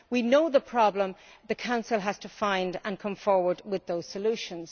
We know the problem, but the Council has to find and come forward with those solutions.